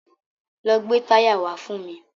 Lọ gbè táyà wá fún mi.